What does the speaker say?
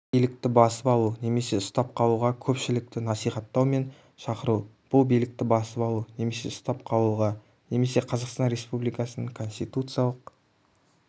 билікті басып алу немесе ұстап қалуға көпшілікті насихатау мен шақыру бұл билікті басып алу немесе ұстап қалуға немесе қазақстан республикасының конституциялық